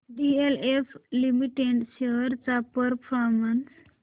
DLF limited shares चा performance